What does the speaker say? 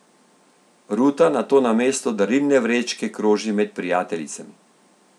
Ruta nato namesto darilne vrečke kroži med prijateljicami.